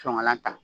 Sɔngɔlan ta